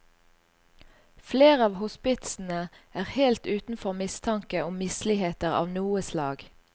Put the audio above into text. Flere av hospitsene er helt utenfor mistanke om misligheter av noe slag.